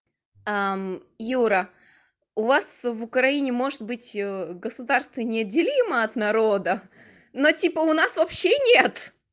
а юра у вас в украине может быть государство неделимо от народа но типа у нас вообще нет